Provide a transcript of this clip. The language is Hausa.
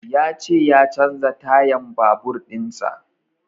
Ya ce ya canza tayan babur in sa